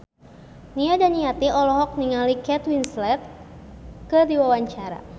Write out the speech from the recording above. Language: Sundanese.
Nia Daniati olohok ningali Kate Winslet keur diwawancara